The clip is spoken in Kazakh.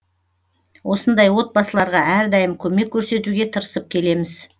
осындай отбасыларға әрдайым көмек көрсетуге тырысып келеміз